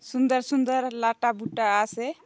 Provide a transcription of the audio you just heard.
सुंदर सुंदर लाटा बुट्टा आसे।